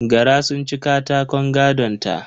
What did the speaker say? Gara sun ci katakon gadonta